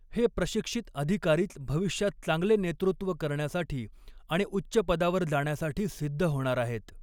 हे प्रशिक्षित अधिकारीच भविष्यात चांगले नेतृत्व करण्यासाठी आणि उच्च पदावर जाण्यासाठी सिद्ध होणार आहेत.